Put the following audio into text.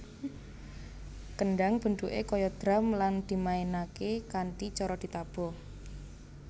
Kendhang bentuké kaya drum lan dimainaké kanthi cara ditabuh